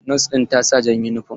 Nos ɗin ta sa jan yunifom.